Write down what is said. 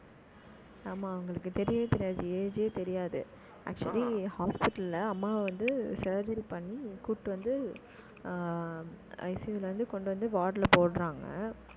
ஆமா அவங்களுக்கு தெரியவே தெரியாது. age ஏ தெரியாது. actually hospital ல, அம்மாவ வந்து, surgery பண்ணி, கூட்டிட்டு வந்து ஆஹ் ICU ல இருந்து, கொண்டு வந்து, ward ல போடுறாங்க